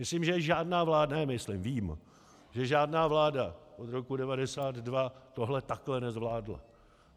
Myslím, že žádná vláda - ne myslím, vím, že žádná vláda od roku 1992 tohle takhle nezvládla.